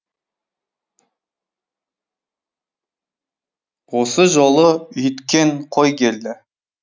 осы жолы үйткен қой келді